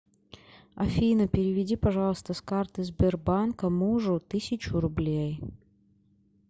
афина переведи пожалуйста с карты сбербанка мужу тысячу рублей